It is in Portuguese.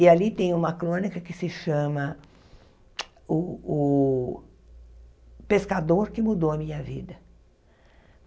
E ali tem uma crônica que se chama... O o Pescador que Mudou a Minha Vida.